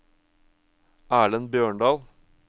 Erlend Bjørndal